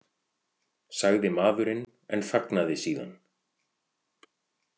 , sagði maðurinn en þagnaði síðan.